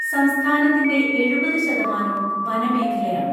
സംസ്ഥാനത്തിന്റെ എഴുപതു ശതമാനവും വനമേഖലയാണ്.